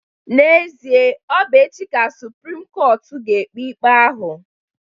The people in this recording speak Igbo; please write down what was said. N'ezie, ọ bụ echi ka suprim kọtụ ga-ekpe ikpe ahụ.